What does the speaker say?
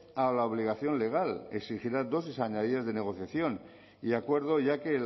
a la obligación legal que exigirá dosis añadidas de negociación y acuerdo ya que